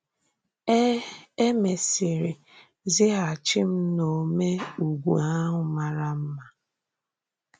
E E mèsìrì zìgàghàchì m n’Ȯmè Úgwù ahụ màrà mma.